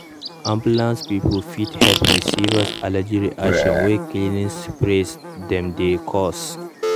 ambulance people fit help with serious allergy reactions wey cleaning sprays them dey cause.